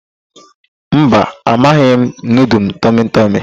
Mba, amaghị m nudul tọmịtọmị.